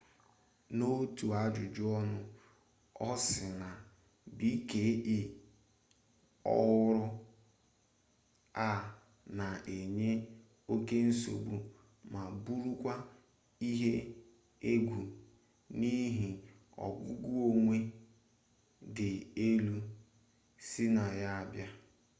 n'otu ajụjụ ọnụ ọ sị na bke ọhụrụ a na enye oke nsogbu ma bụrụkwa ihe egwu n'ihi ogugo ọnwụ dị elu si na ya abịa